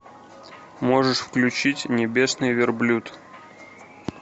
можешь включить небесный верблюд